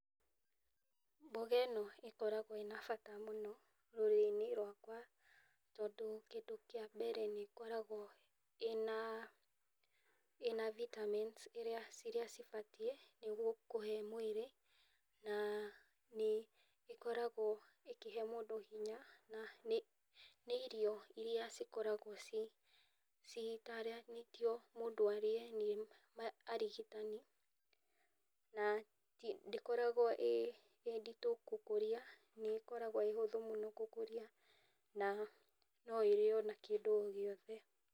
Mboga ĩno ĩkoragwo ĩ ya bata mũno rũrĩrĩ-inĩ rwakwa, tondũ kĩndũ kĩa mbere nĩkoragwo ĩna ĩna Vitamin ciria cibatiĩ nĩguo kũhe mwĩrĩ na nĩikoragwo ikĩhe mũndũ hinya, na nĩ irio iria cikogarwo cigĩtaranĩtio mũndũ arĩe nĩ arigitani, na ndĩkoragwo ĩ nditũ gũkũria, nĩĩkoragwo ĩ hũthũ mũno gũkũria na noĩrĩo na kĩndũ o gĩothe.